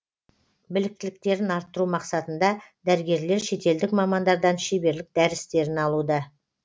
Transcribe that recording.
біліктіліктерін арттыру мақсатында дәрігерлер шетелдік мамандардан шеберлік дәрістерін алуда